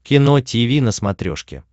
кино тиви на смотрешке